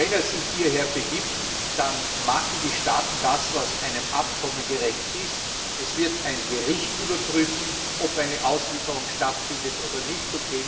Wenn er sich hierher begibt, dann machen die Staaten das, was einem Abkommen gerecht ist Es wird ein Gericht überprüfen, ob eine Auslieferung stattfindet oder nicht.